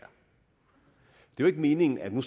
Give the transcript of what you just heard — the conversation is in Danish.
jo ikke meningen at man